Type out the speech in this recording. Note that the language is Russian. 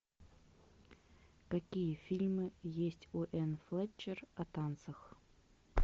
какие фильмы есть у энн флетчер о танцах